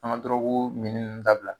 An ka dɔrɔgu minni ninnu dabila .